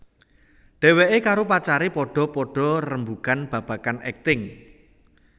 Dheweké karo pacaré padha padha rembugan babagan akting